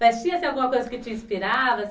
Mas tinha alguma coisa que te inspirava?